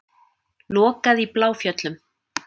Lokað í Bláfjöllum